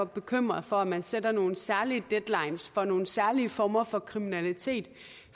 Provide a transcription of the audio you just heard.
bekymrede for om man sætter nogle særlige deadlines for nogle særlige former for kriminalitet